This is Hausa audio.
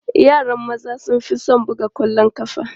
Yaran maza sun fi son buga ƙwallon ƙafa.